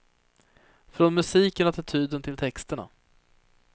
Från musiken och attityden till texterna.